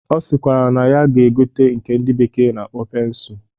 Ọ sịkwara na ya ga-egote nke ndị bekee na-akpọ pensụl